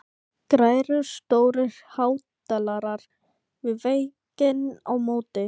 Græjur og stórir hátalarar við vegginn á móti.